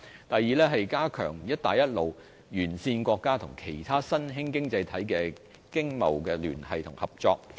第二，是加強與"一帶一路"沿線國家及其他新興經濟體的經貿聯繫和合作。